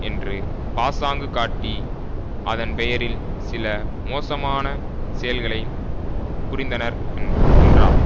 என்று பாசாங்கு காட்டி அதன் பெயரில் சில மோசமான செயல்களை புரிந்தனர் என்று என்றார்